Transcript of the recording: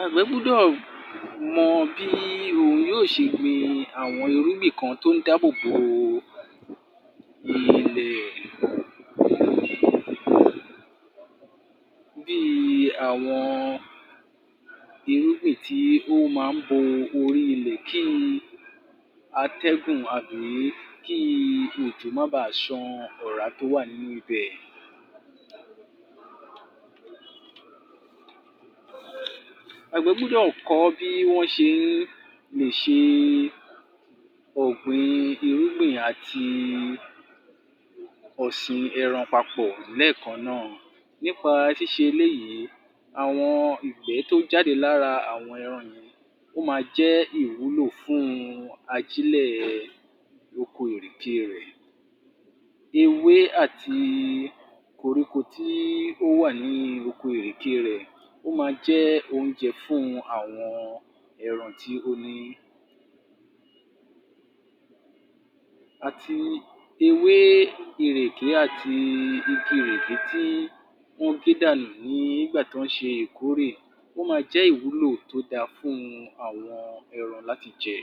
Àgbẹ̀ gbúdọ̀ mọ bí yóò ṣe gbin àwọn irúgìn kan tó ń dábòbo ilẹ̀ bí i àwọn irúgìn tí ó máa ń bo orí ilẹ̀ kí àtẹ́gùn tàbí òjò má baà ṣan ọ̀rá tó wà nínú ib̀ẹ. Àgbẹ̀ gbúdọ̀ kọ́ bí wọ́n ṣe lè ṣe ọ̀gbìñ irúgbìn àti ọ̀sìn ẹran papọ̀ lẹ́ẹ̀kan náà nípa ṣíṣe eléyìí àwọn ìgbẹ́ tó ń jade lára àwọn ẹran yìí, ó máa jẹ́ ìwúlò fún ajílẹ̀ oko ìrèké rẹ̀. Ewé àti koríko tí ó wà ní oko ìrèké rẹ̀ ó máa jẹ́ oúnjẹ fún àwọn ẹran tí ó ní. Àti ewé ìrèké àti igi ìrèké tí ó ń gé dànù nígbà tọ́ ń ṣe ìkórè, ó máa jẹ́ ìwúlò tó dáa fún àwọn ẹran láti jẹ